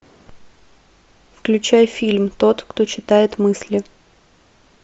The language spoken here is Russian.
включай фильм тот кто читает мысли